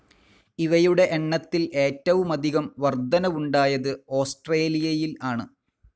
ഇവയുടെ എണ്ണത്തിൽ ഏറ്റവുമധികം വർദ്ധനവുണ്ടായത് ഓസ്‌ട്രേലിയയിൽ ആണ്.